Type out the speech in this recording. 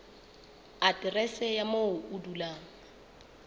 aterese ya moo o dulang